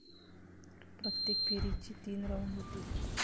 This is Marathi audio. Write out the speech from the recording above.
प्रत्येक फेरीचे तीन राऊंड होतील.